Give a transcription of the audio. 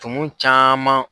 Tumun caman.